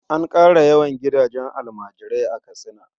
An ƙara yawan gidajen almajirai a Katsina.